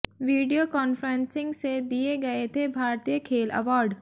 video conferencing से दिए गए थे भारतीय खेल अवॉर्ड